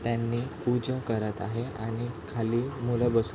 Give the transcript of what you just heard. त्यांनी पूजा करत आहे आणि खाली मूल बसून --